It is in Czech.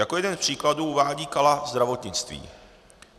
Jako jeden z příkladů uvádí Kala zdravotnictví.